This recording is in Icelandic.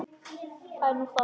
Það er nú það?